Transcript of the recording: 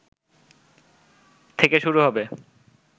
থেকে শুরু হবে